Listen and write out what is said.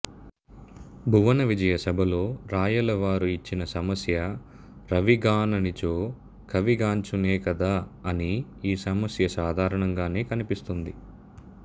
భువనవిజయ సభలో రాయలవారు ఇచ్చిన సమస్య రవి గాననిచో కవి గాంచునే కదా అని ఈ సమస్య సాధారణంగానే కనిపిస్తుంది